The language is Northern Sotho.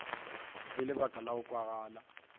le lebaka la go kwagala